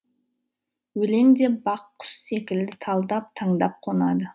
өлең де бақ құс секілді талдап таңдап қонады